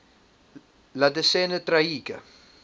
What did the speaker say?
la decena tragica